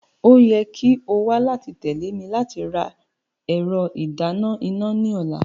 O yẹ ki o wa lati tẹle mi lati ra ẹrọ idana ina ni ọla.